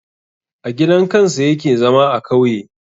A gidan kansa yake zama a kauye